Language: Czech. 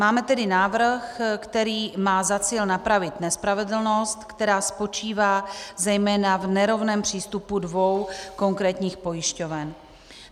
Máme tedy návrh, který má za cíl napravit nespravedlnost, která spočívá zejména v nerovném přístupu dvou konkrétních pojišťoven.